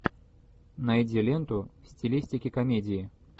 найди ленту в стилистике комедии